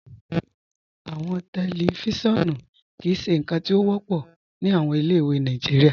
Awọn tẹlifíṣọ̀nù kìí ṣe nkan ti o wọpọ ni awọn ilẹ̀-ìwé Nàìjíríà.